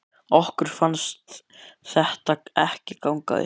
Okkur fannst þetta ekki ganga upp.